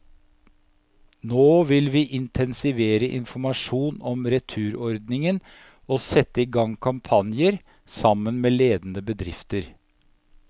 Nå vil vi intensivere informasjonen om returordningen og sette i gang kampanjer, sammen med ledende bedrifter.